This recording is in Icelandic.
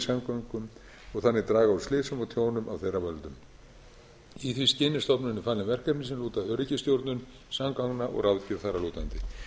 samgöngum og þannig draga úr slysum og tjónum af þeirra völdum í því skyni eru stofnuninni falin verkefni sem lúta að öryggisstjórnun samgangna og ráðgjöf þar að lútandi